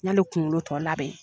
Ne ni kunkolo